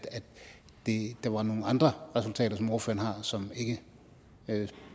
at der er nogle andre resultater som ordføreren har som ikke